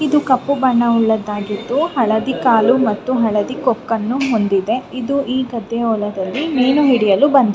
ಇದು ಕಪ್ಪು ಬಣ್ಣದ್ದು ಉಳ್ಳದ್ದಾಗಿದ್ದು ಹಳದಿ ಕಾಲು ಮತ್ತು ಹಳದಿ ಕೊಕ್ಕನ್ನು ಹೊಂದಿದೆ ಇದು ಈ ಗದ್ದೆ ಹೊಲದಲ್ಲಿ ಮೀನು ಹಿಡಿಯಲು ಬಂದಿದ್ದೆ --